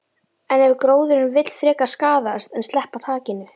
En ef gróðurinn vill frekar skaðast en sleppa takinu?